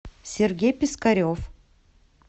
сергей пискарев